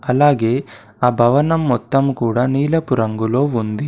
అలాగే ఆ భవనం మొత్తం కూడా నీలపు రంగులో ఉంది.